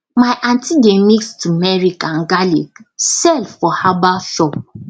my aunty dey mix turmeric and garlic sell for herbal shop